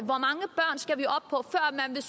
der